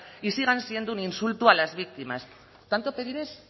y sigan siendo un insulto a las víctimas tanto pedir es